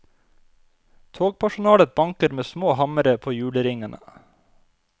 Togpersonalet banker med små hammere på hjulringene.